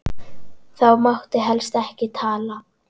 Þá mátti helst ekki tala.